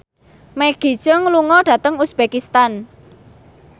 Maggie Cheung lunga dhateng uzbekistan